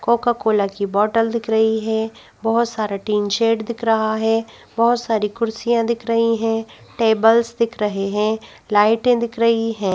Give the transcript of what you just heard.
Coca Cola की बोतल दिख रही है बहुत सारा टीन शेड दिख रहा है बहुत सारी कुर्सियां दिख रही हैं टेबल्स दिख रहे हैं लाइटें रही है।